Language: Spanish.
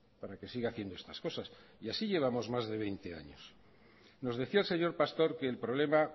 para que siga haciendo estas cosas y así llevamos más de veinte años nos decía el señor pastor que el problema